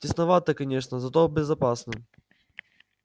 тесновато конечно зато безопасно